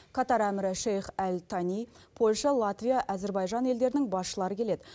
катар әмірі шейх әль тани польша латвия әзербайжан елдерінің басшылары келеді